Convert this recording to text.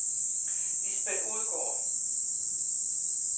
Lisbeth Odgaard